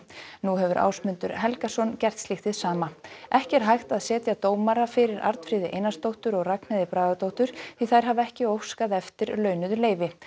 nú hefur Ásmundur Helgason gert slíkt hið sama ekki er hægt að setja dómara fyrir Arnfríði Einarsdóttur og Ragnheiði Bragadóttur því þær hafa ekki óskað eftir launuðu leyfi